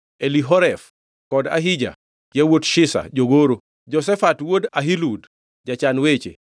Elihoref kod Ahija yawuot Shisha jogoro; Jehoshafat wuod Ahilud jachan weche.